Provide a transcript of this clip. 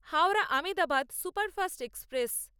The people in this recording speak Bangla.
Howrah Ahmedabad superfast express